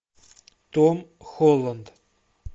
том холланд